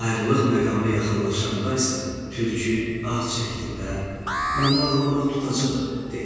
Ayrılıq məqamı yaxınlaşanda isə Tülkü ah çəkdi və "Məni ağlamaq tutacaq!" dedi.